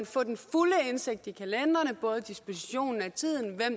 få den fulde indsigt i kalenderne både dispositionen af tiden